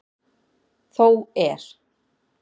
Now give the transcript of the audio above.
Þó er.